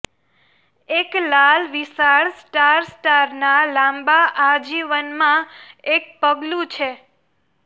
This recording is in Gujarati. એક લાલ વિશાળ સ્ટાર સ્ટારના લાંબા આજીવનમાં એક પગલું છે